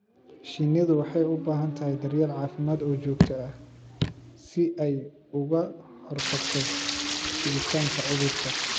Shinnidu waxay u baahan tahay daryeel caafimaad oo joogto ah si ay uga hortagto fiditaanka cudurka.